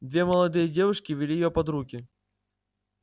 две молодые девушки вели её под руки